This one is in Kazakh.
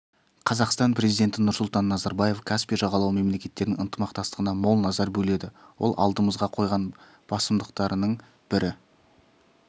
қазақстан президенті нұрсұлтан назарбаев каспий жағалауы мемлекеттерінің ынтымақтастығына мол назар бөледі ол алдымызға қойған басымдықтарының бірі